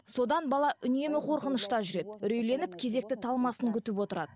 содан бала үнемі қорқынышта жүреді үрейленіп кезекті талмасын күтіп отырады